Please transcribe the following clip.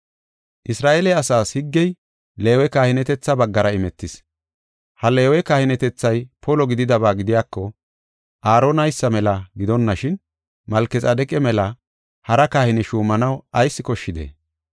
Isra7eele asaas higgey Leewe kahinetetha baggara imetis. Ha Leewe kahinetethay polo gididaba gidiyako Aaronaysa mela gidonashin, Malkexaadeqa mela hara kahine shuumanaw ayis koshshidee?